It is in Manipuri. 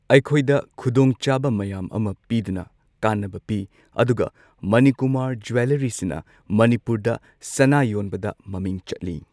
ꯑꯩꯈꯣꯏꯗ ꯈꯨꯗꯣꯡꯆꯥꯕ ꯃꯌꯥꯝ ꯑꯃ ꯄꯤꯗꯨꯅ ꯀꯥꯟꯅꯕ ꯄꯤ ꯑꯗꯨꯒ ꯃꯅꯤꯀꯨꯃꯥꯔ ꯖꯤꯋꯦꯜꯂꯔꯤꯁꯤꯅ ꯃꯅꯤꯄꯨꯔꯗ ꯁꯅꯥ ꯌꯣꯟꯕꯗ ꯃꯃꯤꯡ ꯆꯠꯂꯤ꯫